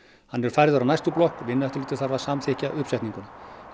hann er færður að næstu blokk Vinnueftirlitið þarf að samþykkja uppsetninguna